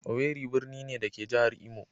Owerri birni ne, da ke a jihar Imo.